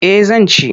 Eh zan ci.